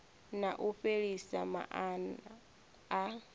na u fhelisa maana a